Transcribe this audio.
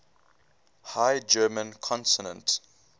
high german consonant